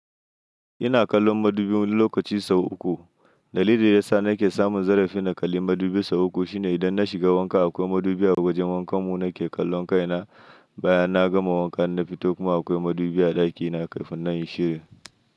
Ina kallon madubi lokaci sau uku. Dalilin da ya sa nake samun zarafin na kalli madubi sau uku shine idan na shiga wanka akwai madubi a wajen wankan mu nake kallon kaina. Bayan na gama wanka na fito kuma akwai madubi a ɗakina kafin nayi shirya.